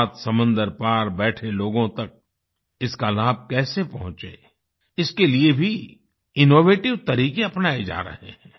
सात समंदर पार बैठे लोगों तक इसका लाभ कैसे पहुंचे इसके लिए भी इनोवेटिव तरीके अपनाए जा रहे हैं